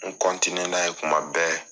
N n'a ye kuma bɛɛ.